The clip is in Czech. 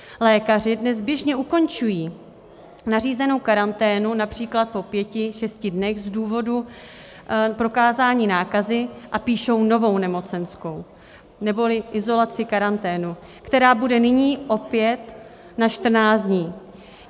Lékaři dnes běžně ukončují nařízenou karanténu například po pěti, šesti dnech z důvodu prokázání nákazy a píšou novou nemocenskou neboli izolaci - karanténu, která bude nyní opět na 14 dní.